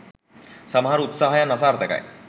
සමහර උත්සාහයන් අසාර්ථකයි